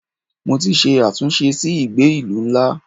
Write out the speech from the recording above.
Mo ti ṣe àtúnṣe sí ìgbé ìlú ńlá.